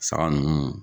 Saga ninnu